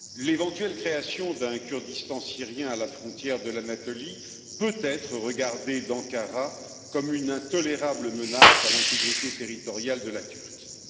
L'éventuelle création d'un Kurdistan syrien à la frontière de l'Anatolie peut être regardée d'Ankara comme une intolérable menace à l'intégrité territoriale de la Turquie.